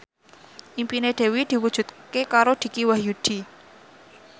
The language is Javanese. impine Dewi diwujudke karo Dicky Wahyudi